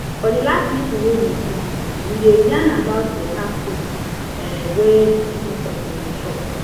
for the last meeting wey we do we dey yarn about better food um wey person suppose dey chop